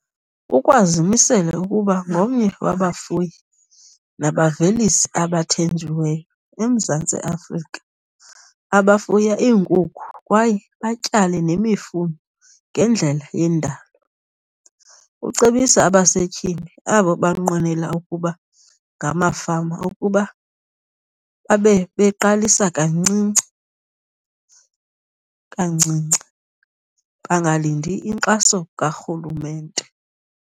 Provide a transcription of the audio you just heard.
Ukwazimisele ukuba ngomnye wabafuyi nabavelisi abathenjiweyo eMzantsi Afrika abafuya iinkukhu kwaye batyale nemifuno ngendlela yendalo. Ucebisa abasetyhini abo banqwenela ukuba ngamafama ukuba babebeqalisa kancinci kancinci, bangalindi inkxaso karhulumente.